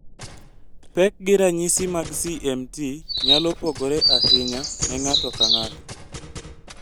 Pek gi ranyisi mag CMT! nyalo pogore ahinya ne ng'ato ka ng'ato